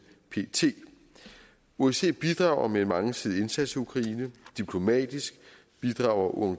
pt osce bidrager med en mangesidig indsats i ukraine diplomatisk bidrager